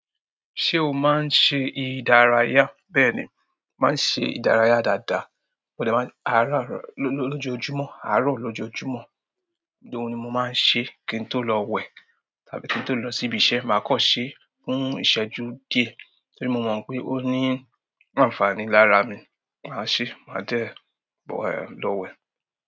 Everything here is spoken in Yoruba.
Ṣé o máa ń ṣe ìdárayá? Bẹ́ẹ̀ ni, mo má ń ṣe ìdárayá dáadáa. Mo de máa-- àárọ̀ àárọ̀ lọ́jọ́ ojúmọ̀, àárọ̀ lọ́jọ́ ojúmọ̀. Bí òun ni mo máa ń ṣe kí n tó lọ wẹ̀ tàbí kí n tó lọ sí ibi iṣẹ́, màá kọ́ ọ ṣe fún ìṣẹ́jú díẹ̀ torí mo mọ̀ pé ó ní àǹfààní lára mi. Màá ṣe, màá de lo we.